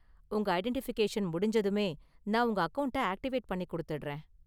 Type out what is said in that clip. உங்க ஐடென்டிஃபிகேஷன் முடிஞ்சதுமே நான் உங்க அக்கவுண்ட்ட ஆக்டிவேட் பண்ணி கொடுத்திடுறேன்.